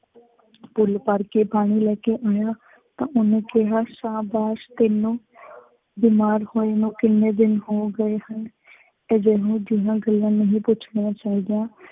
full ਭਰ ਕੇ ਪਾਣੀ ਲੈ ਕੇ ਆਇਆ ਤਾਂ ਉਹਨੇ ਕਿਹਾ ਸ਼ਾਬਾਸ਼ ਤੈਂਨੂੰ ਬਿਮਾਰ ਹੋਏ ਨੂੰ ਕਿੰਨੇ ਦਿਨ ਹੋ ਗਏ ਹਨ। ਇਹੋ ਜਿਹੀਆਂ ਗੱਲਾਂ ਨਹੀਂ ਪੁੱਛਣੀਆਂ ਚਾਹੀਦੀਆਂ।